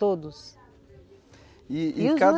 Todos. E, e